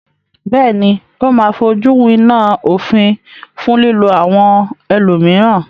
Bẹ́ẹ̀ní, ó máa fojúwiná òfin fún lílo àwọn ẹlòmíràn.